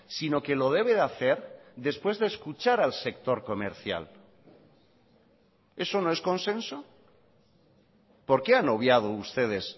sino que lo debe de hacer después de escuchar al sector comercial eso no es consenso por qué han obviado ustedes